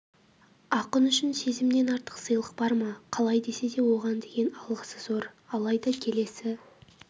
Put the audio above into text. ақын үшін сезімнен артық сыйлық бар ма қалай десе де оған деген алғысы зор алайда келесі